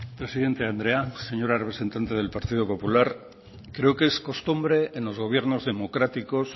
presidente andrea señora representante del partido popular creo que es costumbre en los gobiernos democráticos